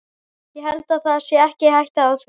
Ég held það sé ekki hætta á því.